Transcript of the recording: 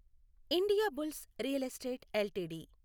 Indiabulls real estate LTD